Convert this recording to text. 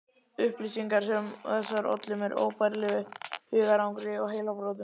Upplýsingar sem þessar ollu mér óbærilegu hugarangri og heilabrotum.